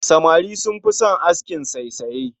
Samari sun fi son askin saisaye